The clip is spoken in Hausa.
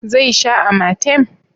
zai sha amatem?